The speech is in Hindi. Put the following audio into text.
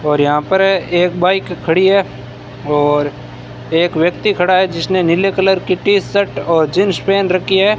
और यहां पर एक बाइक खड़ी है और एक व्यक्ति खड़ा है जिसने नीले कलर की टी शर्ट और जींस पहन रखी है।